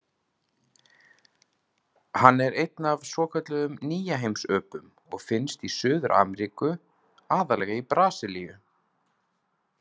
Hann er einn af svokölluðum nýjaheimsöpum og finnst í Suður-Ameríku, aðallega í Brasilíu.